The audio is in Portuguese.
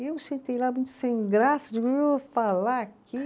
E eu sentei lá sem graça, falar aqui.